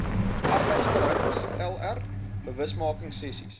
arbeidsverhoudings lr bewusmakingsessies